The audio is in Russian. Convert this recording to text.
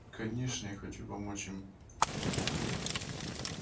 конечно я хочу помочь им